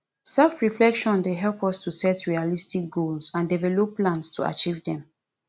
selfreflection dey help us to set realistic goals and develop plans to achieve dem